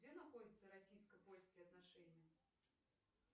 где находятся российско польские отношения